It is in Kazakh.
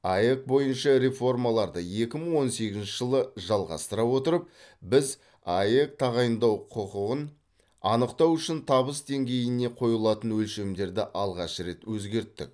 аәк бойынша реформаларды екі мың он сегізінші жылы жалғастыра отырып біз аәк тағайындау құқығын анықтау үшін табыс деңгейіне қойылатын өлшемдерді алғаш рет өзгерттік